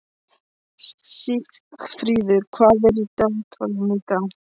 Sigfríður, hvað er í dagatalinu í dag?